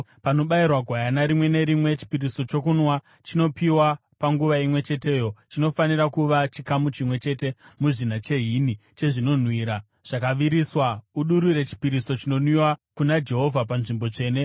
Panobayirwa gwayana rimwe nerimwe, chipiriso chokunwa chinopiwa panguva imwe cheteyo chinofanira kuva chikamu chimwe chete muzvina chehini, chezvinonhuhwira zvakaviriswa. Udurure chipiriso chinonwiwa kuna Jehovha panzvimbo tsvene.